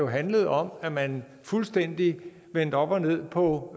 handlede om at man fuldstændig vendte op og ned på